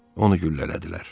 Onu güllələdilər.